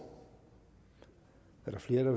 er der flere der